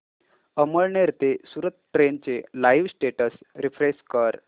अमळनेर ते सूरत ट्रेन चे live status refresh कर